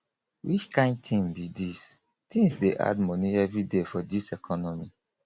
which kain tin be dis tins dey add moni everyday for dis economy